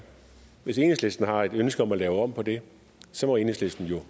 hvis enhedslisten har et ønske om at lave om på det må enhedslisten jo